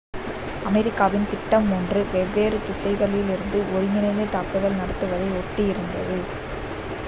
அமெரிக்காவின் திட்டம் மூன்று three வெவ்வேறு திசைகளிலிருந்து ஒருங்கிணைந்த தாக்குதல் நடத்துவதை ஒட்டி இருந்தது